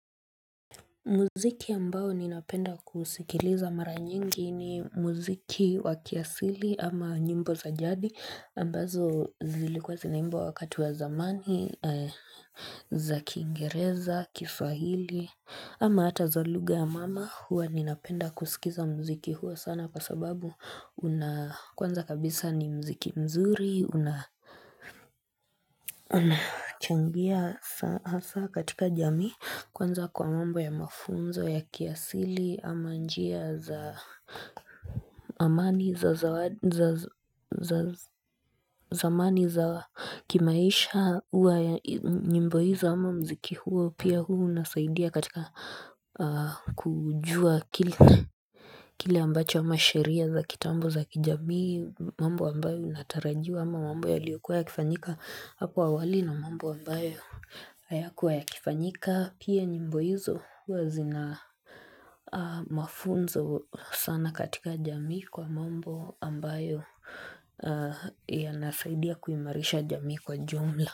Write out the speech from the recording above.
Muziki ambao ninapenda kusikiliza mara nyingi ni muziki wa kiasili ama nyimbo za jadi ambazo zilikuwa zinaimbwa wakati wa zamani, za kiingereza, kiswahili ama hata za lugha ya mama huwa ninapenda kusikiliza muziki huu sana kwa sababu unakwanza kabisa ni muziki mzuri unachangia hasaa katika jamii Kwanza kwa mambo ya mafunzo ya kiasili ama njia za amani za kimaisha huwa nyimbo hizo ama muziki huo pia huwa unasaidia katika kujua kile ambacho ama sheria za kitambo za kijamii mambo ambayo yanatarajiwa ama mambo yaliyokuwa ya kifanyika hapo awali na ambayo ambayo hayakuwa ya kifanyika. Pia nyimbo hizo huwa zina mafunzo sana katika jamii kwa mambo ambayo ya nasaidia kuimarisha jamii kwa ujumla.